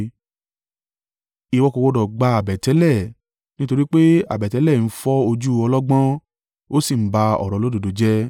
“Ìwọ kò gbọdọ̀ gba àbẹ̀tẹ́lẹ̀, nítorí pé àbẹ̀tẹ́lẹ̀ ń fọ́ ojú ọlọ́gbọ́n, ó sì ń ba ọ̀rọ̀ olódodo jẹ́.